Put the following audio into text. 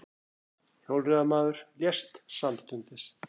Hjólreiðamaður lést samstundis